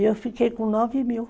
E eu fiquei com nove mil.